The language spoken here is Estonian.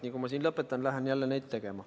Nii nagu ma siin lõpetan, lähen jälle nende kallale.